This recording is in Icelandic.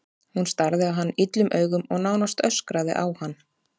Hún starði á hann illum augum og nánast öskraði á hann.